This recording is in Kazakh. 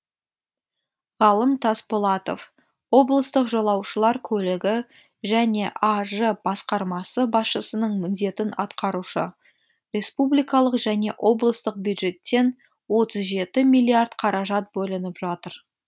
ғалым тасболатов облыстық жолаушылар көлігі және аж басқармасы басшысының міндетін атқарушы республикалық және облыстық бюджеттен отыз жеті миллиард қаражат бөлініп жатыр